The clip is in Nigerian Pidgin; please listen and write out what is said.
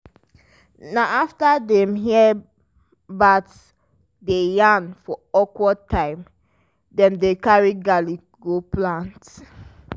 na afta dem hear bat dey yarn for awkward time wey dem carry garlic go plant.